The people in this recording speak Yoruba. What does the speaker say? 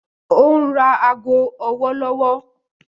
Ó ń ra ago ọwọ́ lọ́wọ́.